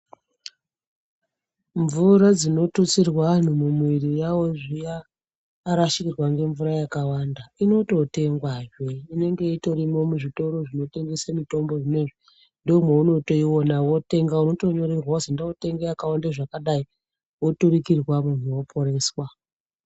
Mvura dzinotutsirwa antu mumiri mawo zviya arasirwa ngemvura yakawanda inototengwazve inenge itorimwo muzvitoro zvinotengese mutombo zvinezvi ndomweunotoiona wotenga unotonyorerwa kuzi enda wotenge zvakadai woturukirwa munhu woporeswa.